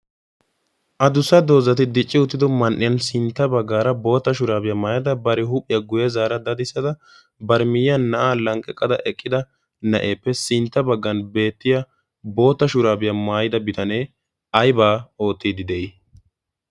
a dussa doozati dicci uttido man'iyan sintta baggaara boota shuraabiyaa maayada bari huuphiyaa guye zaara dadissada bar miyyiya na'aa lanqqeqqada eqqida na'eeppe sintta baggan beettiya boota shuraabiyaa maayida bitanee aybaa oottiidi de'ii?